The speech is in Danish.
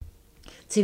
TV 2